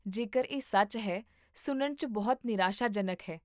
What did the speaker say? ਜੇਕਰ ਇਹ ਸੱਚ ਹੈ, ਸੁਣਨ 'ਚ ਬਹੁਤ ਨਿਰਾਸ਼ਾਜਨਕ ਹੈ